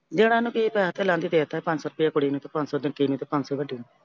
ਦੇਣਾ ਉਹਨੂੰ ਕੀ ਆ? ਪੈਸਾ ਤੇ ਅਲੱਗ ਈ ਦੇਤਾ। ਪੰਜ ਸੋ ਰੁਪਈਆ ਕੁੜੀ ਨੂੰ ਤੇ ਪੰਜ ਸੋ ਵਿੱਕੀ ਨੂੰ ਤੇ ਪੰਜ ਸੋ ਵੱਡੀ ਨੂੰ।